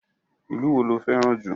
Ìlú wo lo fẹ́ràn jù?